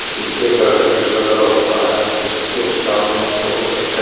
शीशे का गेट लगा हुआ है इसके सामने बहुत अच्छा--